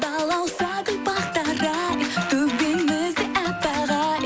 балауса гүл бақтары ай төбемізде аппақ ай